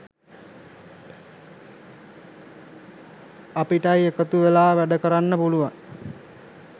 අපිටයි එකතු වෙලා වැඩකරන්න පුළුවන්.